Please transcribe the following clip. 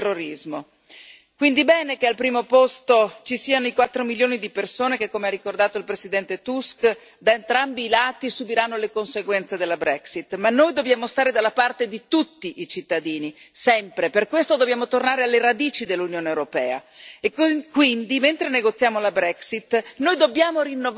Quindi bene che al primo posto ci siano i quattro milioni di persone che, come ha ricordato il presidente Tusk, da entrambi i lati subiranno le conseguenze della Brexit, ma noi dobbiamo stare dalla parte di tutti i cittadini, sempre, per questo dobbiamo tornare alle radici dell'Unione europea e quindi, mentre negoziamo la Brexit, noi dobbiamo rinnovare il patto.